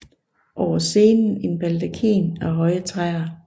Over scenen en baldakin af høje træer